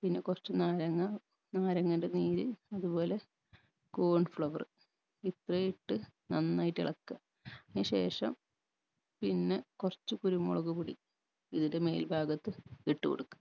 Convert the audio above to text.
പിന്നെ കുറച്ച് നാരങ്ങ നാരങ്ങന്റെ നീര് അത്പോലെ corn flour ഇത്രയു ഇട്ട് നന്നായിട്ട് ഇളക്കുക അയ്ന് ശേഷം പിന്നെ കുറച്ച് കുരുമുളക്പൊടി ഇതിന്റെ മേൽഭാഗത്ത് ഇട്ട് കൊടുക്ക